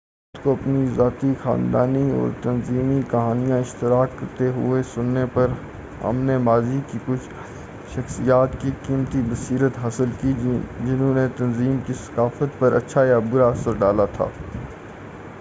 افراد کو اپنی ذاتی خاندانی اور تنظیمی کہانیاں اشتراک کرتے ہوئے سننے پر ہم نے ماضی کی کچھ شخصیات کی قیمتی بصیرت حاصل کی جنہوں نے تنظیم کی ثقافت پر اچّھا یا برا اثر ڈالا تھا